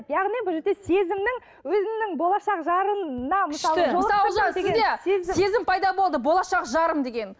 яғни бұл жерде сезімнің өзімнің болашақ жарымнан күшті мысал үшін сізде сезім пайда болды болашақ жарым деген